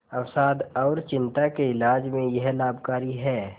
अवसाद और चिंता के इलाज में यह लाभकारी है